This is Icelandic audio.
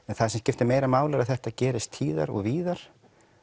en það sem skiptir máli er að þetta gerist tíðar og víðar